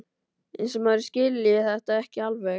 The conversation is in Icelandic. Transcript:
Eins og maður skilji þetta ekki alveg!